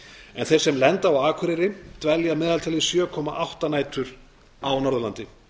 en þeir sem lenda á akureyri dvelja að meðaltali sjö komma átta nætur á norðurlandi